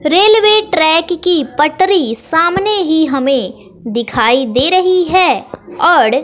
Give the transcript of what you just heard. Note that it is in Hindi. रेलवे ट्रैक की पटरी सामने ही हमें दिखाई दे रही है और--